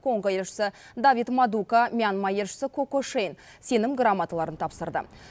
конго елшісі давид мадука мьянма елшісі ко ко шейн сенім грамоталарын тапсырды